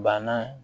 Banna